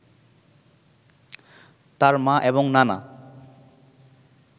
তার মা এবং নানা